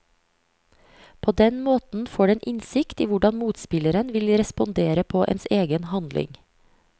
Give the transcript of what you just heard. På den måten får den innsikt i hvordan motspilleren vil respondere på ens egen handling.